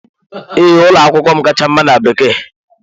Ee, ụlọ akwụkwọ m kacha mma na Bekee.